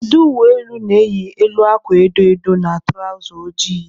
Ndị uweojii na-eyi elu akwa edo edo na tụrawza ojii.